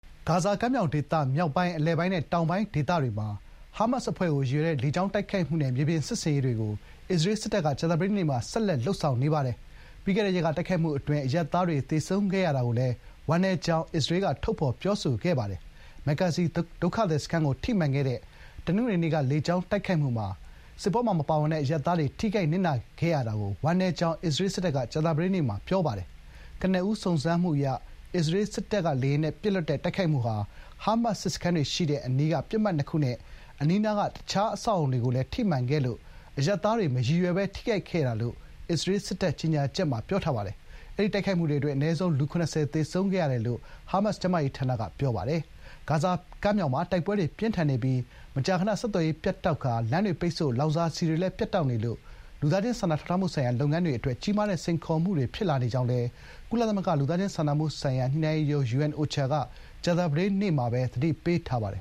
ဂါဇာကမ်းမြောင်ဒေသ မြောက်ပိုင်း၊ အလယ်ပိုင်းနဲ့ တောင်ပိုင်းဒေသတွေမှာ ဟားမတ်စ်အဖွဲ့ကို ရည်ရွယ်တဲ့ လေကြောင်းတိုက်ခိုက်မှုနဲ့ မြေပြင်စစ်ဆင်ရေးတွေကို အစ္စရေးစစ်တပ်က ကြာသပတေးနေ့မှာလည်း ဆက်လက် လုပ်ဆောင်နေပါတယ်။ ပြီးခဲ့တဲ့ရက်က တိုက်ခိုက်မှုအတွင်း အရပ်သားတွေသေဆုံးခဲ့ရတာကိုလည်း ဝမ်းနည်းကြောင်း အစ္စရေးက ထုတ်ဖော်ပြောဆိုခဲ့ပါတယ်။ မက်ဂါဇီဒုက္ခသည်စခန်းကို ထိမှန်ခဲ့တဲ့ တနင်္ဂနွေနေ့က လေကြောင်းတိုက်ခိုက်မှုမှာ စစ်ပွဲမှာ ပါဝင်ပတ်သက်မှုမရှိတဲ့ အရပ်သားတွေ ထိခိုက်နစ်နာခဲ့ရတာကို ဝမ်းနည်းကြောင်း အစ္စရေးစစ်တပ်က ကြာသပတေးနေ့မှာ ပြောပါတယ်။ ကနဦးစုံစမ်းမှုအရ အစ္စရေးစစ်လေယာဉ်တွေက “ဟားမတ်စ် စစ်စခန်းတွေရှိတဲ့အနီးက ပစ်မှတ်နှစ်ခု” နဲ့ အနီးနားက အခြားအဆောက်အအုံတွေကိုလည်း ထိမှန်ခဲ့လို့ “အရပ်သားတွေ မရည်ရွယ်ဘဲ ထိခိုက်ခဲ့တာ” လို့ အစ္စရေးစစ်တပ်ရဲ့ကြေညာချက်မှာ ပြောပါတယ်။ အဲဒီတိုက်ခိုက်မှုအတွင်း အနည်းဆုံး လူ ၇၀ သေဆုံးခဲ့တယ်လို့ ဟားမတ်စ် ကျန်းမာရေးဝန်ကြီးဌာနက ပြောပါတယ်။ တခါ ဂါဇာတောင်ပိုင်း Khan Younis ဘက်မှာလည်း တိုက်ပွဲတွေ ပြင်းထန်နေပါတယ်။ ဂါဇာကမ်းမြောင်မှာ တိုက်ပွဲတွေပြင်းထန်နေပြီး မကြာခဏ ဆက်သွယ်ရေး ပြတ်တောက်ကာ လမ်းတွေပိတ်ဆို့၊ လောင်စာဆီတွေလည်း ပြတ်တောက်နေလို့ လူသားချင်းစာနာထောက်ထားမှုဆိုင်ရာ လုပ်ငန်းတွေအတွက် ကြီးမားတဲ့စိန်ခေါ်မှုတွေဖြစ်လာနေကြောင်းလည်း ကုလသမဂ္ဂလူသားချင်းစာနာမှုဆိုင်ရာ ညှိနှိုင်းရေးရုံး (UNOCHA) က ကြာသပတေးနေ့မှာပဲ သတိပေးထားပါတယ်